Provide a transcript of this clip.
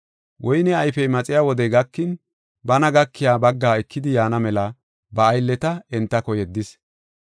Woyne ayfiya maxiya wodey gakin bana gakiya baggaa ekidi yaana mela ba aylleta entako yeddis.